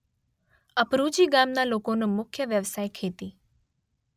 અપરુજી ગામના લોકોનો મુખ્ય વ્યવસાય ખેતી